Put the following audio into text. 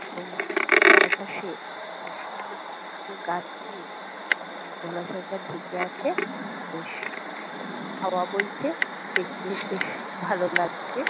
এবং চারপাশে উ- সুন্দর ছোট ছোট গাছ দিয়ে পুকুর জলাশয়টা ঢেকে আছে-এ বেশ সুন্দর হাওয়া বইছে দেখতে বেশ ভালো লাগছে।